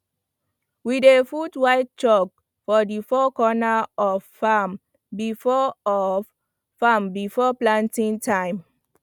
we dey put white chalk for the four corner of farm before of farm before planting time